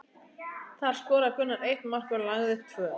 Þar skoraði Gunnar eitt mark og lagði upp tvö.